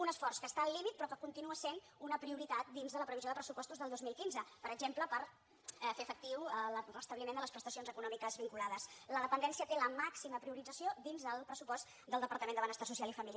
un esforç que està al límit però que continua sent una prioritat dins de la previsió de pressupostos del dos mil quinze per exemple per fer efectiu el restabliment de les prestacions econòmiques vinculades la dependència té la màxima priorització dins del pressupost del departament de benestar so·cial i família